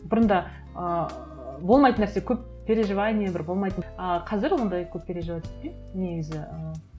бұрында ыыы болмайтын нәрсе көп переживания бір болмайтын ыыы қазір ондай көп переживать етпеймін негізі ыыы